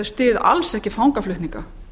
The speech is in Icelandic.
styð alls ekki fangaflutninga